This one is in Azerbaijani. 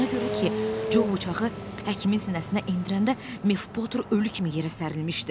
Ona görə ki, Co bıçağı həkimin sinəsinə endirəndə Mev Poter ölü kimi yerə sərilmişdi.